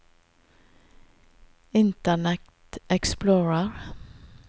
internet explorer